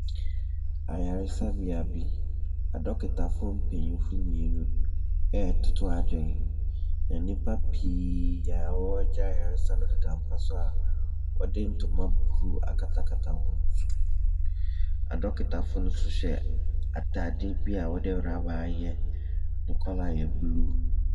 Ayaresabea bi, adɔkotafoɔ mpaninfoɔ mmienu retoto adwene. Nnipa pii a wɔregye ayaresa no deda mpa so a wɔde ntoma blue akatakata wɔn so. Adɔkotafoɔ no nso hyɛ atadeɛ bi a wɔde rubber ayɛ. Ne colour yɛ blue.